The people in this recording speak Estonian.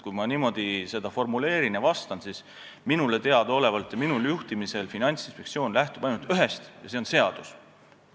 Kui ma seda niimoodi formuleerin ja sellele vastan, siis võin öelda, et minule teadaolevalt ja minu juhtimisel lähtub Finantsinspektsioon ainult ühest ja see on seadus.